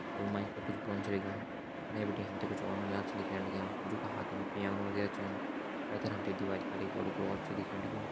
और वो माइक पर कुछ बोन छ लग्युं फणे बिटि हम त कुछ और नौनियाल छन दिखेण लग्यां जू का हाथम पिआनो वगैहरा छन पैथर हम त दिवाली पर एक बड़ू क्रॉस छ दिखेण लग्युं।